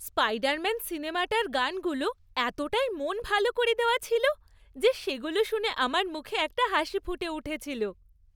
Spiderman সিনেমাটার গানগুলো এতটাই মন ভালো করে দেওয়া ছিল যে সেগুলো শুনে আমার মুখে একটা হাসি ফুটে উঠেছিল।